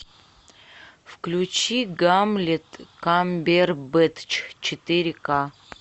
включи гамлет камбербэтч четыре ка